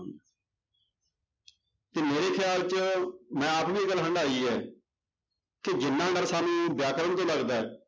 ਤੇ ਮੇਰੇ ਖਿਆਲ ਚ ਮੈਂ ਆਪ ਵੀ ਇਹ ਗੱਲ ਹੰਡਾਈ ਹੈ ਕਿ ਜਿੰਨਾ ਡਰ ਸਾਨੂੰ ਵਿਆਕਰਨ ਤੋਂ ਲੱਗਦਾ ਹੈ